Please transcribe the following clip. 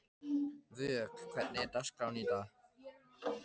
Vök, hvernig er dagskráin í dag?